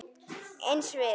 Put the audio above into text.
Eins við